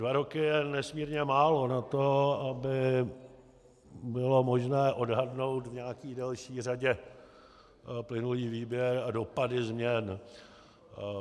Dva roky je nesmírně málo na to, aby bylo možné odhadnout v nějaké delší řadě plynulý výběr a dopady změn.